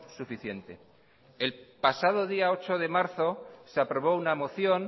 suficiente el pasado día ocho de marzo se aprobó una moción